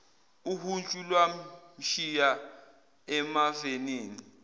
uhuntshu lwamshiya emavenini